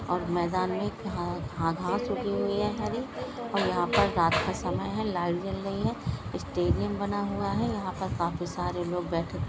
और मैदान मे घा घास उगी हुई हे हरी और यहा पर रात का समय है लाइट जल रही है स्टेडियम बना हुवा है यहा पर काफी सारे लोग बैठे --